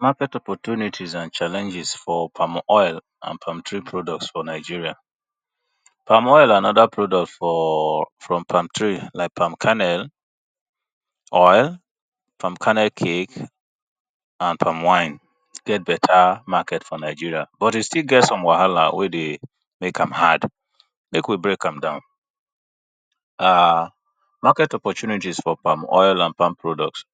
Market opportunities and challenges for palm oil and palm tree produce for Nigeria. Palm oil and oda products from palm tree like oil, palm kernel, palm kernel cake, and palm wine get better market for Nigeria but e still get some wahala wey dey make am hard make we break am down. [ urn ] Market opportunities and challenges for palm oil and palm tree products.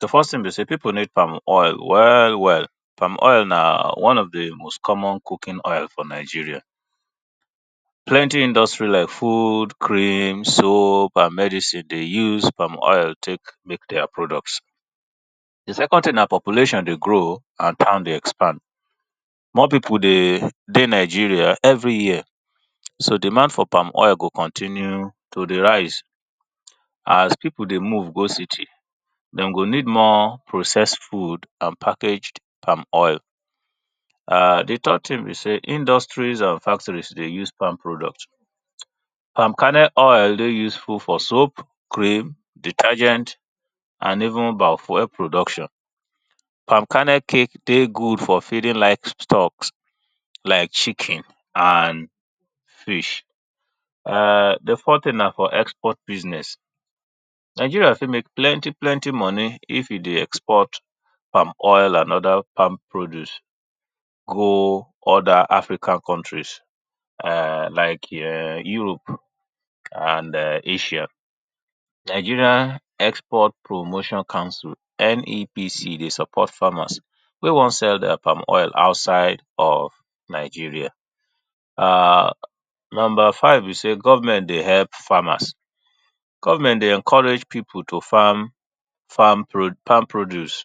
Di first thing be sey people need palm oil well well palm oil na di most common cooking oil for Nigeria. Plenty industry like food, cream, soap industry dey use palm oil take make their products. Di second thing na population dey grow oh and time dey expand, more people dey dey Nigeria every year so demand for palm oil go continue to dey rise as people dey move go city dem go need more processed food and packaged palm oil. Di next thing be sey industries and factories dey use palm products palm kernel dey useful for soap, cream, detergent and even bio fuel production. Palm kernel cake dey good for feeding livestock like chicken and food [urn] di forth thing na for export business, Nigeria fit make plenty plenty money if e dey export palm oil and oda palm produce go oda African countries like Europe and Asia. Nigeria export promotion council N.E.PC. dey support farmers wey wan sell their oil outside of Nigeria. Number five be sey government dey help farmers, government dey encourage people to farm palm produce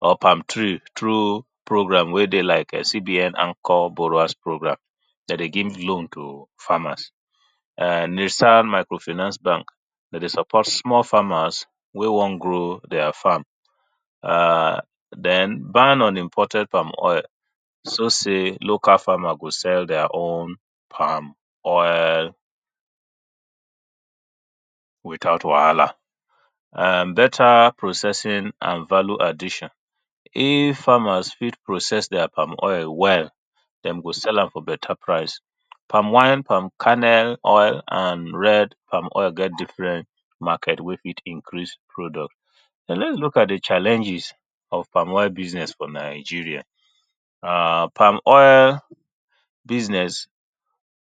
or palm tree through program wey dey like C.B.N anchor borrowers program dem dey give loan to farmers, [urn] Nissan micro finance bank dem dey support small farmers wey wan grow their farm den barn on imported local palm oil show sey farmer go sell their owm palm oil without wahala. Better processing and value addition. If famers fit process their oil well, dem go sell am for better price, palm wine, palm kernel, palm oil and red oil get different market wey fit increase product. But lets look at di challenges of palm oil business for Nigeria business,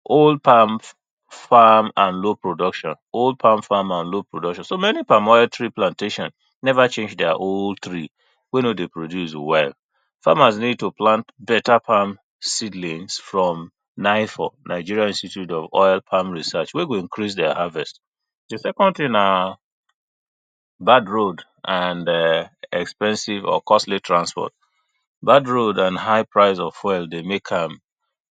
old palm and low production, old palm and low production so many palm oil tree production never change their old tree wey no dey produce well, farmers need to plant better palm seedlings from Nigeria institute of oil research wey go increase their harvest, di second thing na bad road and expensive or costly transport, bad road and costly transport dey make am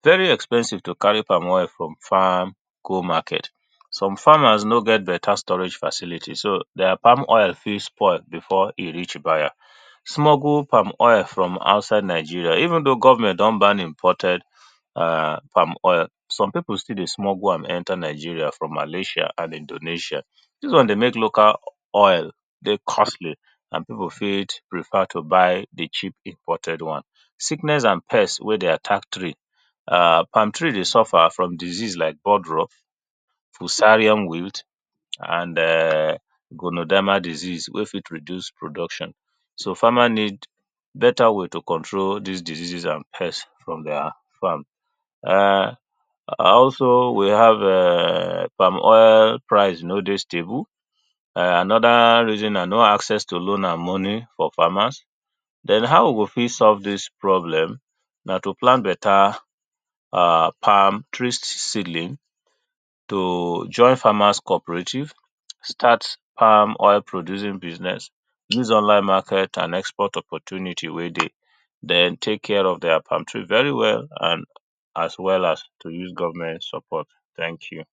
very expensive to carry palm oil from farm go market, some farmers no get better storage facility so their palm oil fit spoil before e reach buyer, smuggled palm oil into Nigeria, even though government don ban exported palm oil some people still dey smuggle am enter Nigeria from Malaysia and Indonesia. Dis one dey make local oil dey costly and people fit prefer to but di cheap imported one, sickness and pest wey dey attack tree, palm tree dey suffer from sickness like podro, pusarium weild, and [urn] konodma disease wey fit reduce production so farmer need better way to control dis diseases and pest from their farm, also we have [urn] palm oil price no dey stable oda reason na no access to loan and money for farmers. Den how we go fit solve dis problem na to plant better palm tree seedling, to join farmers cooperative, start palm oil producing business, use online market and export opportunities wey dey, den take care of their palm tree very well, and as well as to use government support, thank you.